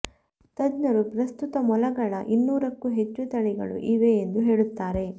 ತಜ್ಞರು ಪ್ರಸ್ತುತ ಮೊಲಗಳ ಇನ್ನೂರಕ್ಕೂ ಹೆಚ್ಚು ತಳಿಗಳು ಇವೆ ಎಂದು ಹೇಳುತ್ತಾರೆ